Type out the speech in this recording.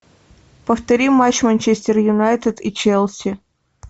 повтори матч манчестер юнайтед и челси